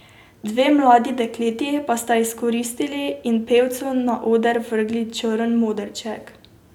Dve mladi dekleti pa sta izkoristili in pevcu na oder vrgli črn modrček.